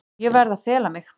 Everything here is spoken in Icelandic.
Ég verð að fela mig.